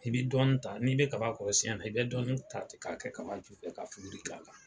I be dɔɔnin ta n'i be kaba kɔrɔsiyɛn na i bɛ dɔɔnin ta ten k'a kɛ kaba ju fɛ ka fuguri k'a la